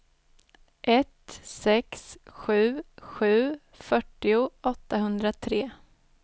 ett sex sju sju fyrtio åttahundratre